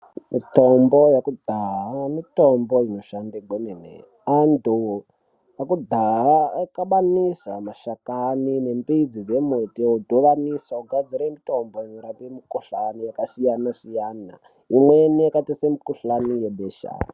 Mitombo yekudhaya mitombo inoshanda kwemene antu ekudhaya aikabanisa mashakani nembidzi dzemuti odhubanisa ogadzira mutombo yorape mukuhlani yakasiyana siyana imweni yakaita semukuhlani webesha.